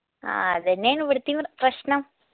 ആ അതന്നെയാണ് ഇവിടിതീം പ്രശ്നം